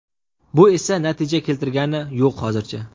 Bu esa natija keltirgani yo‘q hozircha.